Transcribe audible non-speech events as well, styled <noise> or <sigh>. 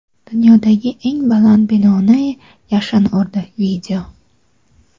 Dunyodagi eng baland binoni yashin urdi. <video>